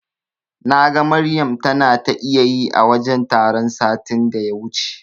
Naga Maryam tana ta iyayi a wajen taron satin da ya wuce.